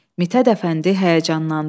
Mithət Əfəndi həyəcanlandı.